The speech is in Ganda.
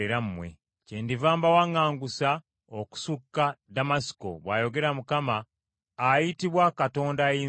Kyendiva mbawaŋŋangusa okusukka Ddamasiko,” bw’ayogera Mukama , ayitibwa Katonda Ayinzabyonna.